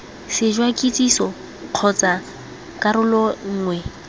sešwa kitsiso kgotsa karolo nngwe